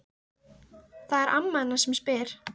Það er amma hennar sem spyr.